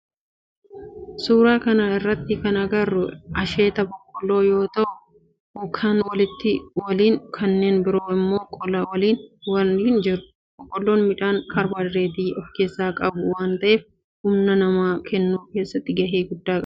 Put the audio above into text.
Suuraa kana irratti kana agarru asheeta boqqoolloo yoo ta'u kaan qola waliin kanneen biroo immoo qola isaanii waliin jiru. Boqoolloo midhaan kaarbohaayidireetii of keessaa qabuu waan ta'eef humna nama kennuu keessatti gahee guddaa qaba.